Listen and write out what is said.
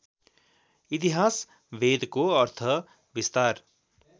इतिहास वेदको अर्थविस्तार